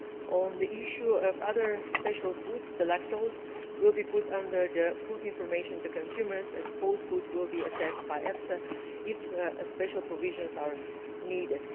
On the issue of other special foods, lactose will be put under the Food Information to Consumers Regulation and sports food will be assessed by EFSA if special provisions are needed.